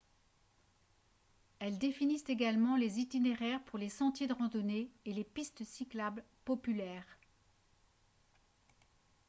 elles définissent également les itinéraires pour les sentiers de randonnée et les pistes cyclables populaires